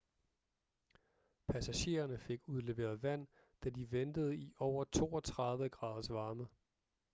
passagererne fik udleveret vand da de ventede i over 32 graders varme